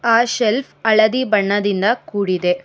ಆ ಶೆಲ್ಫ್ ಹಳದಿ ಬಣ್ಣದಿಂದ ಕೂಡಿದೆ.